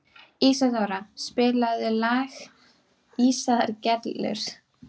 Ísadóra, spilaðu lagið „Ísaðar Gellur“.